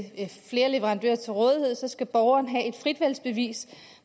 flere leverandører til rådighed skal borgeren have et fritvalgsbevis